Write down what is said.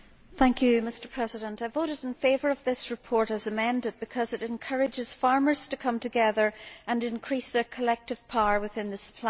Mr President, I voted in favour of this report, as amended, because it encourages farmers to come together and increase their collective power within the supply chain.